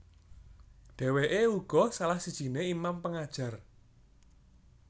Dèwèké uga salah sijiné imam pengajar